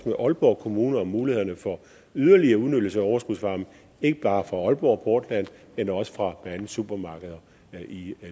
med aalborg kommune om mulighederne for yderligere udnyttelse af overskudsvarme ikke bare fra aalborg portland men også fra blandt andet supermarkeder i